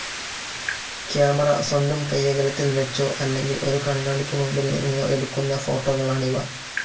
Camera സ്വന്തം കൈയ്യകലത്തിൽ വെച്ചോ, അല്ലെങ്കിൽ ഒരു കണ്ണാടിക് മുൻപിൽ നിന്നോ എടുക്കുന്ന ഫോട്ടോകളാണിവ.